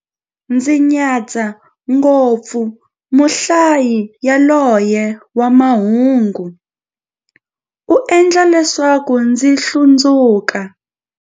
Ndzi nyadza ngopfu muhlayi yaloye wa mahungu, u endla leswaku ndzi hlundzuka.